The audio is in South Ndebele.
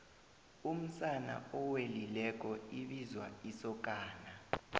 umsana owelileko ibizwa isokana